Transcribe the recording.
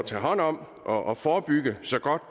tage hånd om og forebygge så godt